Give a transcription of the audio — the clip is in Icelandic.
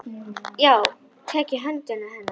Ég tek um hönd hennar.